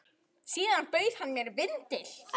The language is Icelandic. Síðan bauð hann mér vindil.